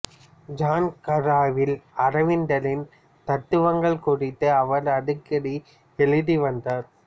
ஜன்கராவில் அரவிந்தரின் தத்துவங்கள் குறித்து அவர் அடிக்கடி எழுதி வந்தார்